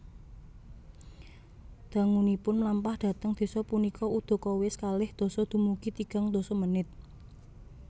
Dangunipun mlampah dhateng desa punika udakawis kalih dasa dumugi tigang dasa menit